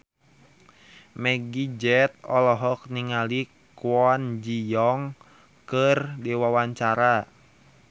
Meggie Z olohok ningali Kwon Ji Yong keur diwawancara